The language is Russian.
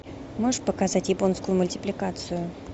можешь показать японскую мультипликацию